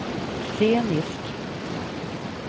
scenisk